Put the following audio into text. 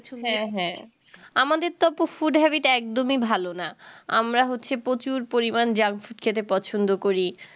হ্যাঁ হ্যাঁ আমাদের তো আপু food habbit একদমই ভালো না আমরা হচ্ছে প্রচুর পরিমান junk food খেতে পছন্দ করি